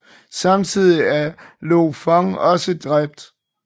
Samtidig er Lo Fong også dræbt